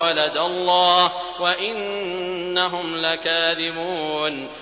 وَلَدَ اللَّهُ وَإِنَّهُمْ لَكَاذِبُونَ